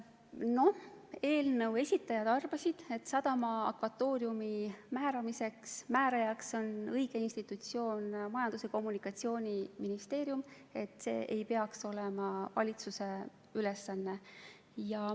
Eelnõu algatajad arvasid, et sadama akvatooriumi määramisel on õige institutsioon Majandus- ja Kommunikatsiooniministeerium ja et see ei peaks olema valitsuse ülesanne.